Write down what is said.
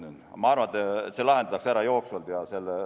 Nii et ma arvan, et see lahendatakse ära jooksvalt.